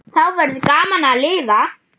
Þá verður gaman að lifa.